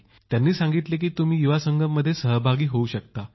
त्यांनी सांगितले की तुम्ही युवा संगम मध्ये सहभागी होऊ शकता